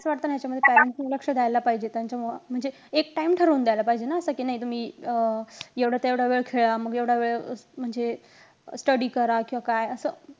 पण मला असं वाटतं ना ह्याच्या मध्ये parents ने लक्ष द्यायला पाहिजे. त्यांच्या मुळे म्हणजे एक time ठरवून द्यायला पाहिजे ना. आता कि नाही तुम्ही अं एवढं ते एवढं वेळ खेळा. मग एवढा वेळ म्हणजे study करा किंवा काय असं.